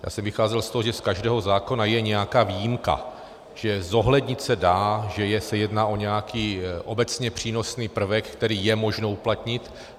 Já jsem vycházel z toho, že z každého zákona je nějaká výjimka, že zohlednit se dá, že se jedná o nějaký obecně přínosný prvek, který je možno uplatnit.